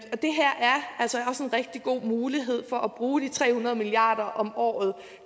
rigtig god mulighed for at bruge de tre hundrede milliard kroner om året